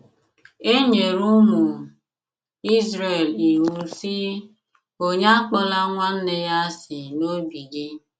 E nyere ụmụ Izrel iwu, sị: “ Onye Akpọla nwanne ya asị n’obi gị. ”